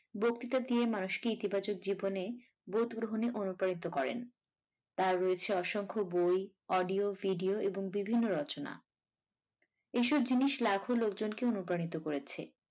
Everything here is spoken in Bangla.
বক্তৃতা দিয়ে মানুষকে ইতিবাচক জীবনে বোধ গ্রহণে অনুপ্রাণিত করেন তার রয়েছে অসংখ্য বই audio video এবং বিভিন্ন রচনা এইসব জিনিস লাখ লোকজনকে অনুপ্রাণিত করেছে।